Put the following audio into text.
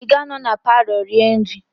Ị ga-anọ na palọ rie nri?